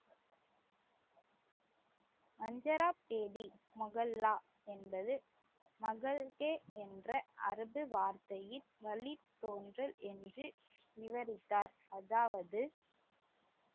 முஹல்லா என்பது என்ற அரபு வார்த்தையில் வழித்தோன்றல் என்று விவரித்தார் அதாவது